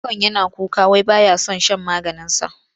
Yaron yana kuka wai ba ya son shan maganinsa.